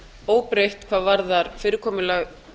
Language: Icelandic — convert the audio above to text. óbreytt hvað varðar fyrirkomulag